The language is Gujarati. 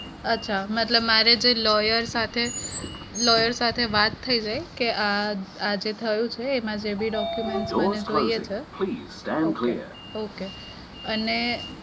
અચ્છા. મતલબ મારેજે lawyer સાથે lawyer સાથે વાત થઇ છે કે અમ જે થયું છે આમાં જેબી document મને જોઈએ છે okay okay અને